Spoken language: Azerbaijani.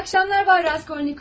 İyi axşamlar, bay Raskolnikov.